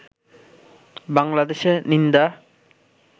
বাংলাদেশে নিন্দা